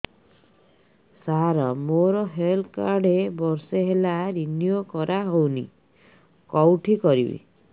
ସାର ମୋର health card ବର୍ଷେ ହେଲା ରିନିଓ କରା ହଉନି କଉଠି କରିବି